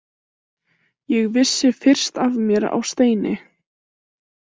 Ég vissi fyrst af mér á steini.